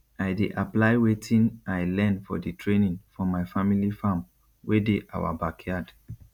i dey apply wetin i learn for di training for my family farm wey dey awa backyard